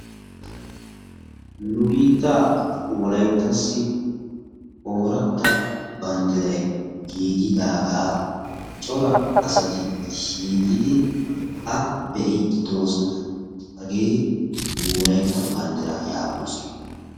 Nu biittaa wolayittassi ooratta banddiray giigidaagaa cora asati shiiqidi giigidi A be'iiddi de'oosona. Hagee nu wolayitta banddiraa yaagoosona.